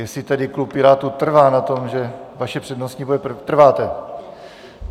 Jestli tedy klub Pirátů trvá na tom, že vaše přednostní bude - trváte.